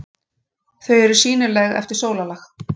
Þau eru sýnileg eftir sólarlag.